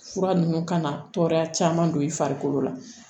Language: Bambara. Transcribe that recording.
Fura ninnu kana tɔɔrɔya caman don i farikolo la